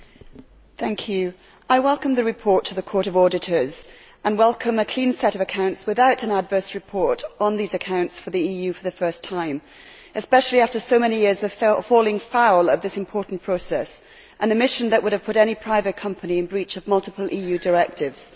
Mr President, I welcome the report of the Court of Auditors and welcome a clean set of accounts without an adverse report on these accounts for the EU for the first time, especially after so many years of falling foul of this important process and a mission that would have put any private company in breach of multiple EU directives.